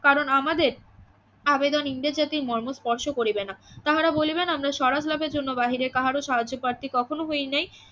কারণ আমাদের আবেদন ইংরেজ জাতির মর্ম স্পর্শ করিবে না তাহারা বলিবে না আমরা স্বরাজ লাভের জন্য বাহিরে কাহার সাহায্য প্রার্থী কখনো হই নাই